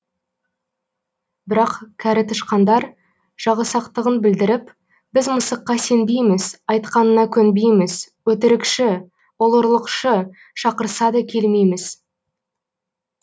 бірақ кәрі тышқандар жағысақтығын білдіріп біз мысыққа сенбейміз айтқанына көнбейміз өтірікші ол ұрлықшы шақырса да келмейміз